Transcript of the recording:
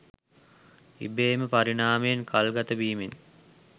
ඉබේම පරිණාමයෙන් කල්ගතවීමෙන්